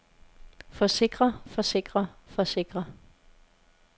forsikrer forsikrer forsikrer